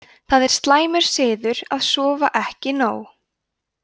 það er slæmur siður að sofa ekki nóg